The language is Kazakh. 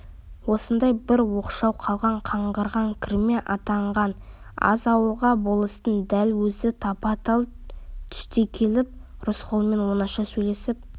осындай бір оқшау қалған қаңғырған кірме атанған аз ауылға болыстың дәл өзі тапа-тал түсте келіп рысқұлмен оңаша сөйлесіп